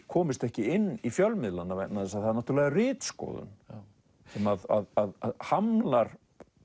komist ekki inn í fjölmiðlana vegna þess að það er náttúrulega ritskoðun sem hamlar